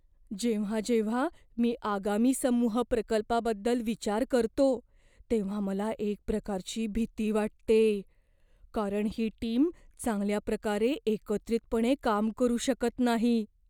जेव्हा जेव्हा मी आगामी समूह प्रकल्पाबद्दल विचार करतो तेव्हा मला एक प्रकारची भीती वाटते, कारण ही टीम चांगल्या प्रकारे एकत्रितपणे काम करू शकत नाही.